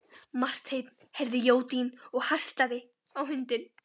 Marteinn heyrði jódyn og hastaði á hundinn.